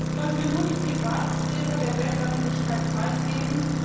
Sollen wir nun die Privatsphäre der Weltöffentlichkeit preisgeben?